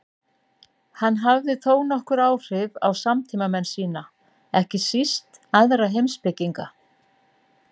Hann hafði þónokkur áhrif á samtímamenn sína, ekki síst aðra heimspekinga.